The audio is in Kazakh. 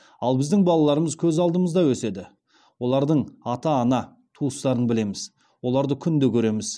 ал біздің балаларымыз көз алдымызда өседі олардың ата ана туыстарын білеміз оларды күнде көреміз